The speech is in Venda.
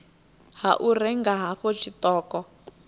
ha u renga hafhu tshiṱoko